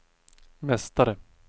mästare